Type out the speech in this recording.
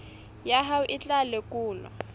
ya hao e tla lekolwa